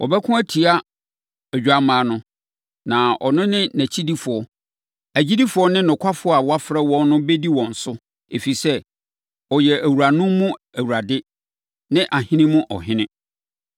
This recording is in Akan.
Wɔbɛko atia Odwammaa no, na ɔno ne nʼakyidifoɔ, agyidifoɔ ne nokwafoɔ a wɔafrɛ wɔn no bɛdi wɔn so, ɛfiri sɛ, ɔyɛ awuranom mu Awurade ne ahene mu Ɔhene.”